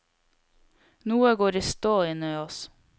Noe går i stå inne i oss.